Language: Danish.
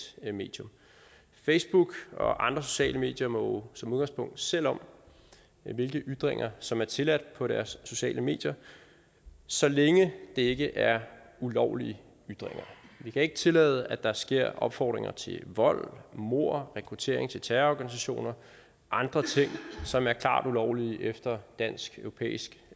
medium facebook og andre sociale medier må som udgangspunkt selv om hvilke ytringer som er tilladt på deres sociale medier så længe det ikke er ulovlige ytringer vi kan ikke tillade at der sker opfordringer til vold mord rekruttering til terrororganisationer og andre ting som er klart ulovlige efter dansk europæisk